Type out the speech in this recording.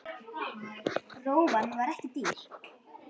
Rófan var ekki dýr.